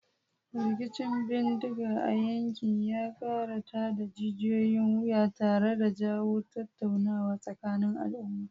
Rikicin bindiga a yankin ya kara tada jijiyoyin wuya tare da jawo tattaunawa tsakanin al'umma.